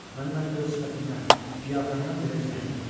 Mənim hətta öz sifətimdən, qiyafəmdən belə zəhləm gedir.